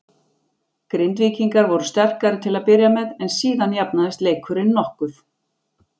Grindvíkingar voru sterkari til að byrja með en síðan jafnaðist leikurinn mokkuð.